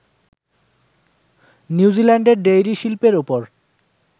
নিউজিল্যান্ডের ডেইরি শিল্পের ওপর